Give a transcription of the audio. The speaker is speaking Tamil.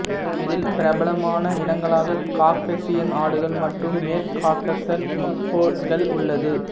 இதில் பிரபலமான இனங்களாக காகசியன் ஆடுகள் மற்றும் மேற்குகாகசஸ் மஃப்ளோன்கள் உள்ளது